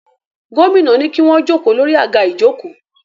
Gómìnà ní kí wọ́n jókòó lórí àga ìjókòó